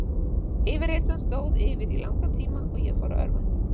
Yfirheyrslan stóð yfir í langan tíma og ég fór að örvænta.